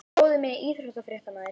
Bróðir minn er íþróttafréttamaður.